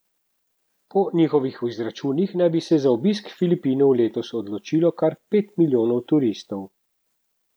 Po njihovih izračunih naj bi se za obisk Filipinov letos odločilo kar pet milijonov turistov.